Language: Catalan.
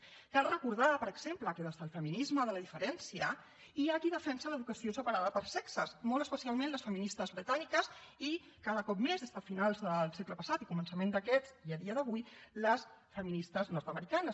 cal recordar per exemple que des del feminisme de la diferència hi ha qui defensa l’educació separada per sexes molt especialment les feministes britàniques i cada cop més des de finals del segle passat i començament d’aquest i a dia d’avui les feministes nord americanes